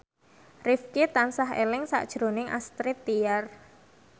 Rifqi tansah eling sakjroning Astrid Tiar